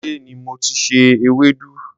ilé ni mo ti se ewédú.